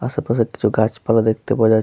আসে পাশে কিছু গাছপালা দেখতে পাওয়া যা--